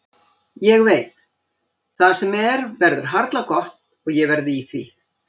Ég veit: Það sem er verður harla gott og ég verð í því.